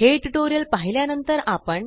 हे ट्यूटोरियल पाहिल्या नंतर आपण